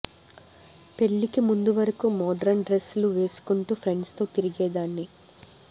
పెళ్ళికి ముందు వరకు మోడ్రన్ డ్రెస్ లు వేసుకుంటూ ఫ్రెండ్స్ తో తిరిగేదాన్ని